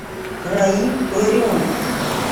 раиль ларионов